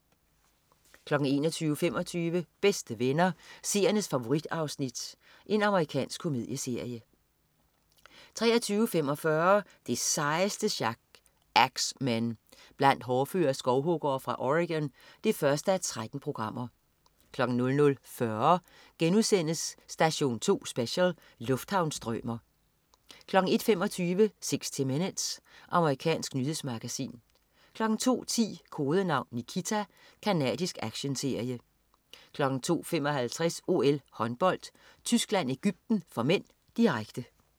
21.25 Bedste Venner. Seernes favorit-afsnit. Amerikansk komedieserie 23.45 Det sejeste sjak. Ax Men. Blandt hårdføre skovhuggere fra Oregon 1:13 00.40 Station 2 Special: Lufthavnsstrømer* 01.25 60 Minutes. Amerikansk nyhedsmagasin 02.10 Kodenavn Nikita. Canadisk actionserie 02.55 OL: Håndbold. Tyskland-Egypten (m), direkte